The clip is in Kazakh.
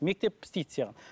мектеп істейді саған